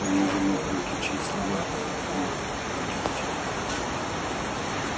он уже мог различить слова мог но не хотел